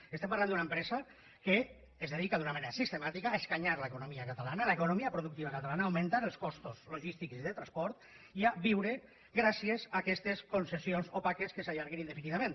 i estem parlant d’una empresa que es dedica d’una manera sistemàtica a escanyar l’economia catalana l’economia productiva catalana augmentant els costos logístics i de transport i a viure gràcies a aquestes concessions opaques que s’allarguen indefinidament